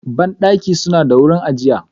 Bandaki suna da wurin ajiya.